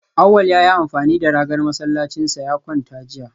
Awal ya yi amfani da ragar masallacinsa ya kwanta jiya